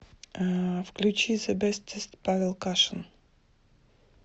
включи зэ бэстэст павел кашин